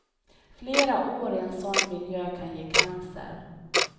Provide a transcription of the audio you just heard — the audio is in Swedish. Flera år i en sådan miljö kan ge cancer.